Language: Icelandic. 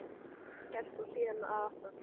Það var gert og síðan að aftan.